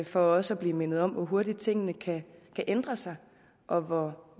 for også at blive mindet om hvor hurtigt tingene kan ændre sig og hvor